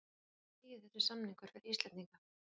En hvað þýðir þessi samningur fyrir Íslendinga?